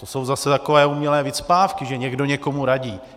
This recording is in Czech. To jsou zase takové umělé vycpávky, že někdo někomu radí.